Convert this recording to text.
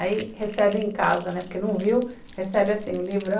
Aí recebe em casa, né, porque não viu, recebe o livrão.